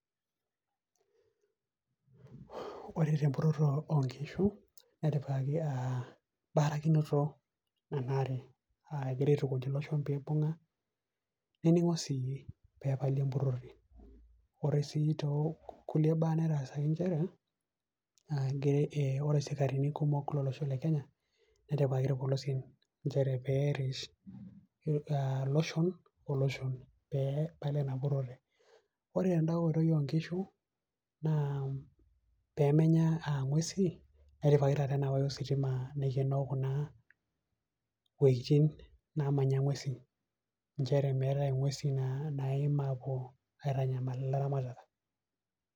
ore tempuroto oo nkishu, netipikaki barakinoto enaare. egirae aetukuj iloshon peyiee, ibung'a, nening'o sii, pee epali empurore. ore sii too kulie baa naataasaki nchere, ore isikarini kumok lolosho le kenya ,netipikaki irpolosien, pee eret iloshon oloshon pee epal empurore, ore tenda oitoi oo nkishu naaa pee menya ing'uesi netipikaki taata ena wire ositima, naikenoo kuna wueitin naamanya ng'uesin, nchere meetae inguesin naapuo aitanyama ilaramatak.